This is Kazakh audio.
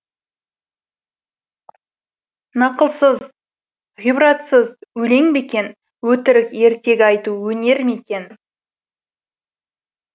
нақылсыз ғибратсыз өлең бе екен өтірік ертегі айту өнер ме екен